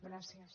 gràcies